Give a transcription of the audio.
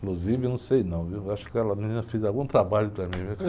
Inclusive, não sei não viu, acho que aquela menina fez algum trabalho para mim.